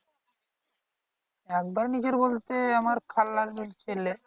একবারে নিজের বলতে আমার খালার ছেলে